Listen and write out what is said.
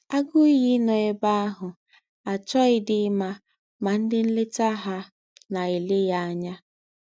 Ágụ́ íyí nọ̀ èbè àhù àchọ̀ghídí ímá mà ndí́ ńlétà hà nà-èlé yá ànyá.